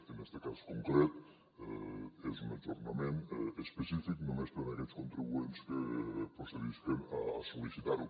en este cas concret és un ajornament específic només per a aquells contribuents que procedisquen a sol·licitar ho